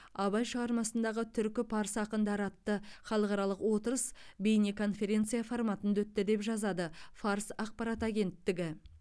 абай шығармасындағы түркі парсы ақындары атты халықаралық отырыс бейнеконференция форматында өтті деп жазады фарс ақпарат агенттігі